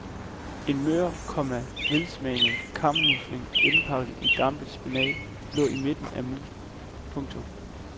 En mør, komma velsmagende kammusling indpakket i dampet spinat lå i midten af moussen. punktum